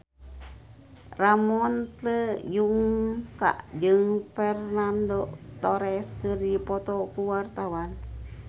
Ramon T. Yungka jeung Fernando Torres keur dipoto ku wartawan